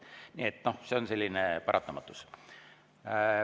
Nii et see on selline paratamatus.